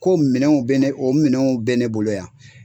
Ko minɛnw bɛ ne o minɛnw bɛ ne bolo yan.